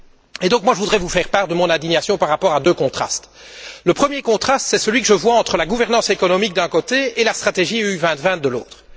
Je voudrais donc vous faire part de mon indignation par rapport à deux contrastes le premier contraste c'est celui que je vois entre la gouvernance économique, d'un côté, et la stratégie UE 2020, de l'autre.